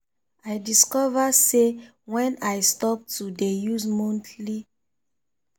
i discover say when i stop to de use monthly